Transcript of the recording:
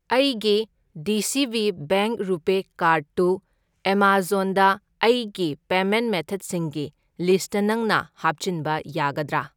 ꯑꯩꯒꯤ D C B bank RuPay card ꯇꯨ ꯑꯦꯃꯥꯖꯣꯟꯗ ꯑꯩꯒꯤ ꯄꯦꯃꯦꯟꯠ ꯃꯦꯊꯗꯁꯤꯡꯒꯤ ꯂꯤꯁꯠꯇ ꯅꯪꯅ ꯍꯥꯞꯆꯤꯟꯕ ꯌꯥꯒꯗ꯭ꯔꯥ?